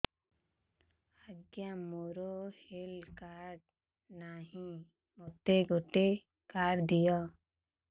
ଆଜ୍ଞା ମୋର health card ନାହିଁ ମୋତେ ଗୋଟେ କାର୍ଡ ଦିଅ